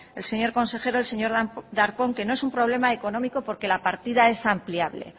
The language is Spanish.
el señor consejero el señor darpón que no es un problema económico porque la partida es ampliable